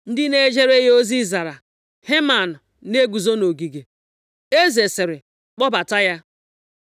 Ndị na-ejere ya ozi zara, “Heman na-eguzo nʼogige.” Eze sịrị, “Kpọbata ya.”